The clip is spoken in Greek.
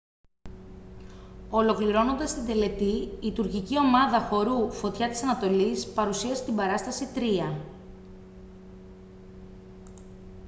ολοκληρώνοντας την τελετή η τουρκική ομάδα χορού φωτιά της ανατολής παρουσίασε την παράσταση «τροία»